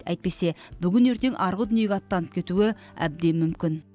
әйтпесе бүгін ертең арғы дүниеге аттанып кетуі әбден мүмкін